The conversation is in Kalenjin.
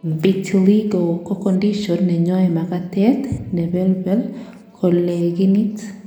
vitiligo ko condition neyoe makatet nebelbel kolegenit